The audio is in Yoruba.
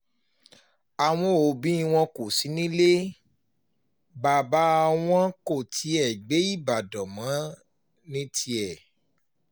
àwọn òbí wọn kò sí nílé bàbá wọn kò tiẹ̀ gbé ìbàdàn mọ́ ní tiẹ̀